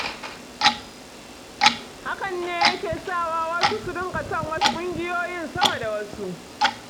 Hakan ne yake sa wa wasu su dinga son wasu ƙungiyoyin sama da wasu.